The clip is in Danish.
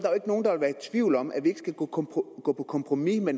tvivl om at vi ikke skulle gå på kompromis med